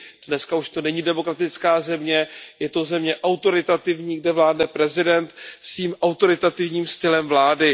Dneska už to není demokratická země, je to země autoritativní, kde vládne prezident svým autoritativním stylem vlády.